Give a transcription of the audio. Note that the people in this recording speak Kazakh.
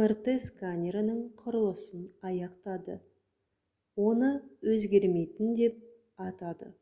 мрт сканерінің құрылысын аяқтады оны «өзгермейтін» деп атады